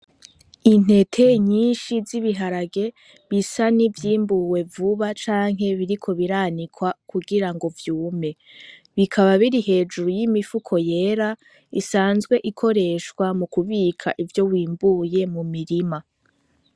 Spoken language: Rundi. Intete nyinshi z'ibiharage bisa n'ivyimbuwe vuba canke biriko biranikwa kugirango vyume, bikaba biri hejuru y'imifuko yera isanzwe ikoreshwa mukubika ivyo wimbuye mu mirima.